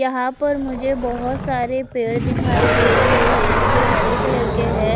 यह पर मुझे बहोत सारे पेड़ दिखाई दे रहे है जो हरे कलर के है।